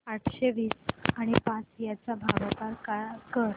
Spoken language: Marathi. अठराशे वीस आणि पाच यांचा भागाकार कर